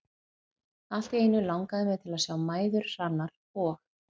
Allt í einu langaði mig til að sjá mæður Hrannar og